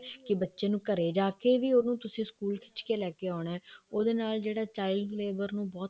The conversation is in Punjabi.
ਕੇ ਬੱਚੇ ਨੂੰ ਘਰੇ ਜਾ ਕੇ ਵੀ ਉਹਨੂੰ ਤੁਸੀਂ ਸਕੂਲ ਖਿੱਚ ਕੇ ਲੈਕੇ ਆਉਣਾ ਉਹਦੇ ਨਾਲ ਜਿਹੜਾ child ਲੇਬਰ ਨੂੰ ਬਹੁਤ